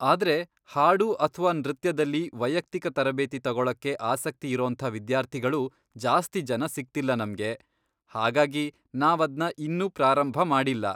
ಆದ್ರೆ ಹಾಡು ಅಥ್ವಾ ನೃತ್ಯದಲ್ಲಿ ವೈಯಕ್ತಿಕ ತರಬೇತಿ ತಗೊಳಕ್ಕೆ ಆಸಕ್ತಿ ಇರೋಂಥ ವಿದ್ಯಾರ್ಥಿಗಳು ಜಾಸ್ತಿ ಜನ ಸಿಗ್ತಿಲ್ಲ ನಮ್ಗೆ. ಹಾಗಾಗಿ ನಾವದ್ನ ಇನ್ನೂ ಪ್ರಾರಂಭ ಮಾಡಿಲ್ಲ.